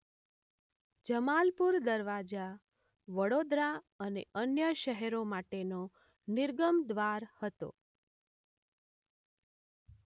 જમાલપુર દરવાજા વડોદરા અને અન્ય શહેરો માટેનો નિર્ગમ દ્વાર હતો.